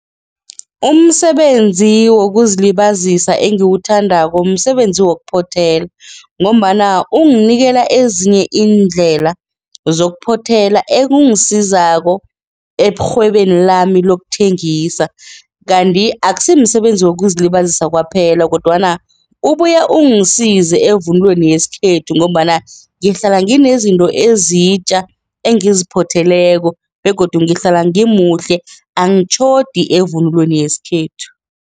Umsebenzi wokuzilibazisa engiwuthandako msebenzi wokuphothela ngombana ungikela ezinye iindlela zokuphothela ekungisizako erhwebeni lami lokuthengisa kanti akusimsebenzi wokuzilibazisa kwaphela kodwana ubuya ungisize evunulweni yesikhethu ngombana ngihlala nginezinto ezitja engiziphotheleko begodu ngihlala ngimuhle angitjhodi evunulweni yesikhethu.